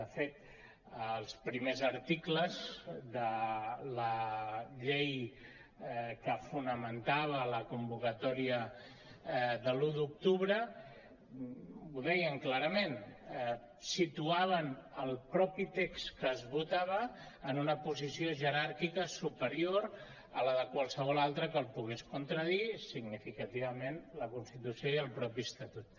de fet els primers articles de la llei que fonamentava la convocatòria de l’un d’octubre ho deien clarament situaven el text que es votava en una posició jeràrquica superior a la de qualsevol altre que el pogués contradir significativament la constitució i el mateix estatut